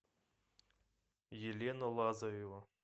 елена лазарева